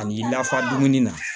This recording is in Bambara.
Ani lafaamu na